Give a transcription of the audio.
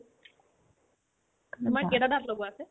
এনে তোমাৰ কেইটা দাঁত লগোৱা আছে